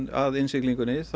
að innsiglingunni